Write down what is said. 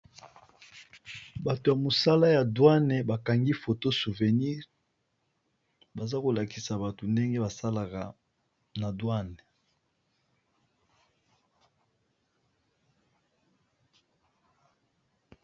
Bato ya mosala ya douane bakangi foto souvenire baza kolakisa bato ndenge basalaka na douane.